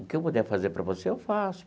O que eu puder fazer para você, eu faço.